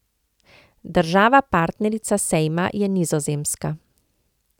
Država partnerica sejma je Nizozemska.